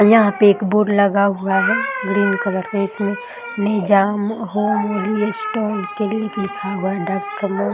यहाँ पे एक बोर्ड लगा हुआ है ग्रीन कलर का इसमें निजाम होमियो स्टोन क्लीनिक लिखा हुआ है डाक्टर मो --